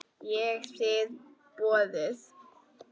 Ég þigg boðið.